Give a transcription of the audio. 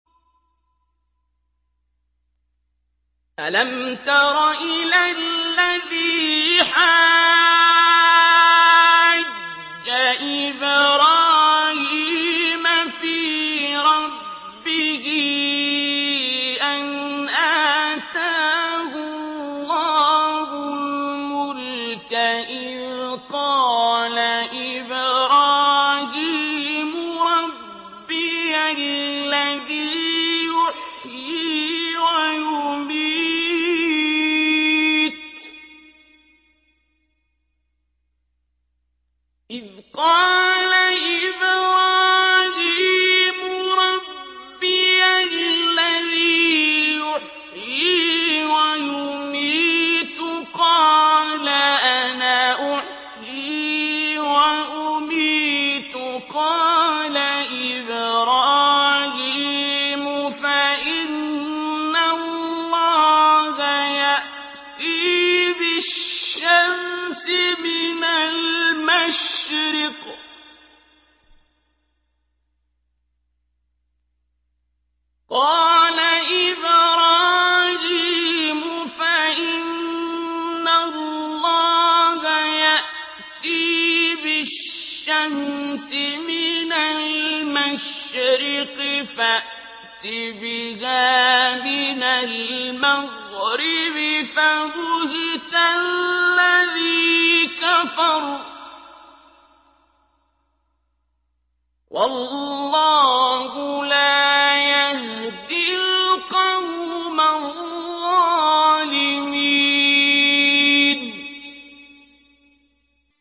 أَلَمْ تَرَ إِلَى الَّذِي حَاجَّ إِبْرَاهِيمَ فِي رَبِّهِ أَنْ آتَاهُ اللَّهُ الْمُلْكَ إِذْ قَالَ إِبْرَاهِيمُ رَبِّيَ الَّذِي يُحْيِي وَيُمِيتُ قَالَ أَنَا أُحْيِي وَأُمِيتُ ۖ قَالَ إِبْرَاهِيمُ فَإِنَّ اللَّهَ يَأْتِي بِالشَّمْسِ مِنَ الْمَشْرِقِ فَأْتِ بِهَا مِنَ الْمَغْرِبِ فَبُهِتَ الَّذِي كَفَرَ ۗ وَاللَّهُ لَا يَهْدِي الْقَوْمَ الظَّالِمِينَ